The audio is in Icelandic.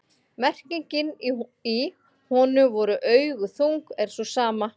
merkingin í „honum voru augu þung“ er sú sama